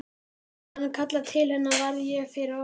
Hann kallar til hennar: Varð ég fyrir árás?